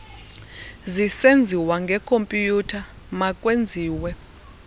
zisenziwa ngekhompyutha makwenziwe